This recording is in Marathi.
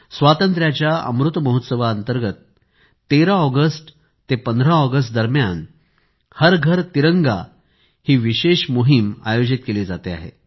स्वातंत्र्याच्या अमृत महोत्सवाअंतर्गत 13 ऑगस्ट ते 15 ऑगस्ट एक विशेष मोहीम हर घर तिरंगा हर घर तिरंगा चे आयोजन केले जाणार आहे